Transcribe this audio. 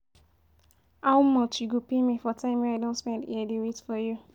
How much you go pay me for time I don spend here dey wait for you?